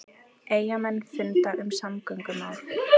Eyjamenn funda um samgöngumál